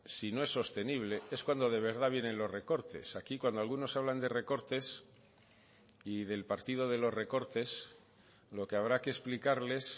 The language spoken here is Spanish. si no es sostenible es cuando de verdad vienen los recortes aquí cuando algunos hablan de recortes y del partido de los recortes lo que habrá que explicarles